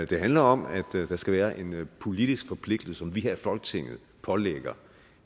det handler om at der skal være en politisk forpligtelse som vi her i folketinget pålægger